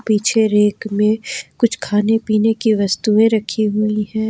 पीछे रैक में कुछ खाने पीने की वस्तुएं रखी हुई है।